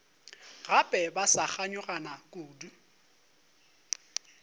gape ba sa kganyogana kudu